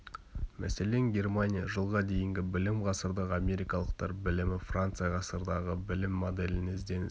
мәселен германия жылға дейінгі білім ғасырдағы америкалықтар білімі франция ғасырдағы білім моделіне ізденіс